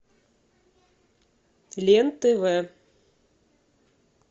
лен тв